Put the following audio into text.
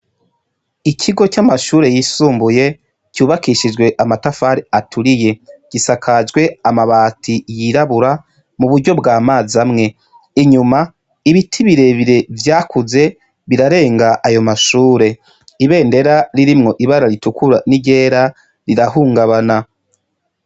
Ikigo c'amashure yisumbuye cubakishijwe amatafari aturiye, gisakajwe amabati yirabura mu buryo bwa mazi amwe. Inyuma, ibiti birebire vyakuze birarenga ayo mashure Ibendera ririmwo ibara ritukura n'iryera rirahungabana.